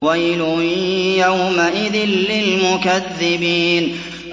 وَيْلٌ يَوْمَئِذٍ لِّلْمُكَذِّبِينَ